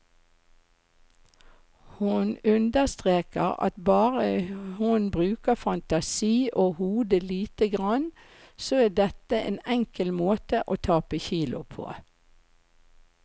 Hun understreker at bare hun bruker fantasi og hodet lite grann, så er dette en enkel måte å tape kilo på.